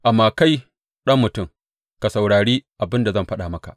Amma kai, ɗan mutum, ka saurari abin da zan faɗa maka.